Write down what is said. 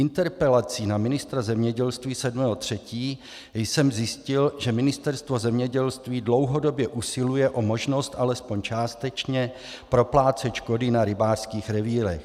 Interpelací na ministra zemědělství 7. 3. jsem zjistil, že Ministerstvo zemědělství dlouhodobě usiluje o možnost alespoň částečně proplácet škody na rybářských revírech.